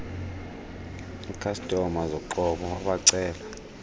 ikhastoma zoqobo wabacela